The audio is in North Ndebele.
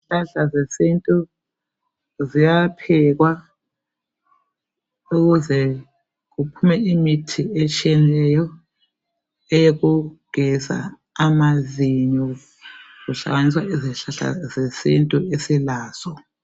Izihlahla zesintu ziyaphekwa ukuze kuphume imithi etshiyeneyo, eyokugeza amazinyo. Kuhlanganiswa izihlahla zesintu esilazo.